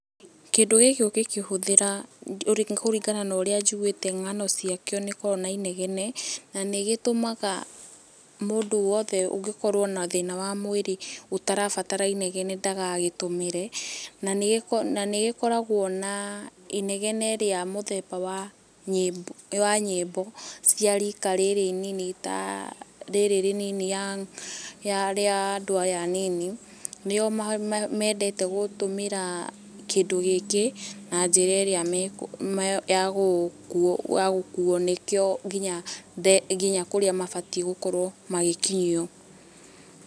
Kĩndũ gĩkĩ ũgĩkĩhũthĩra kuringana na urĩa njiguĩte ngano ciakĩo ni gikoragwo na inegene na nĩgĩtũmaga mũndũ wothe ũngikorwo na thina wa mwĩrĩ ũtarabatara inegene ndagagĩtũmĩre. Na nĩ gĩkoragwo na inegene rĩa muthemba wa nyĩmbo cia riika rĩrĩ inini ta rĩrĩ rĩnini rĩa andũ aya anini. Nĩo mendete gũtũmĩra kĩndũ gĩkĩ na njĩra ĩrĩa [mh] ya gũkuo ni kĩo nginya kũrĩa mabatiĩ gũkorwo magĩkinyio.